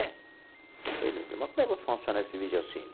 Eh meu Deus mas como é que vai funcionar esse vídeo cine?